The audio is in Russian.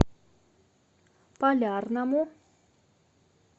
полярному